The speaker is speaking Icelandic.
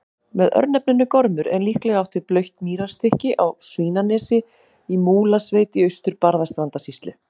Með örnefninu Gormur er líklega átt við blautt mýrarstykki á Svínanesi í Múlasveit í Austur-Barðastrandarsýslu.